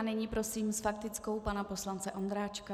A nyní prosím s faktickou pana poslance Ondráčka.